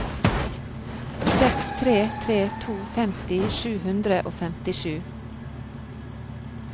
seks tre tre to femti sju hundre og femtisju